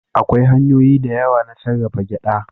Akwai hanyoyi da yawa na sarrafa gyaɗa.